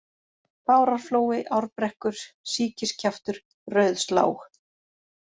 Bárarflói, Árbrekkur, Síkiskjaftur, Rauðslág